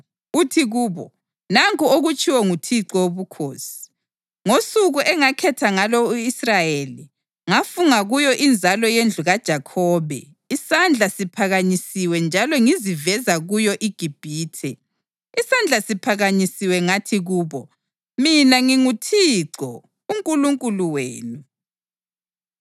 uthi kubo: ‘Nanku okutshiwo nguThixo Wobukhosi: Ngosuku engakhetha ngalo u-Israyeli, ngafunga kuyo inzalo yendlu kaJakhobe isandla siphakanyisiwe njalo ngiziveza kuyo iGibhithe. Isandla siphakanyisiwe ngathi kubo, “Mina nginguThixo uNkulunkulu wenu.”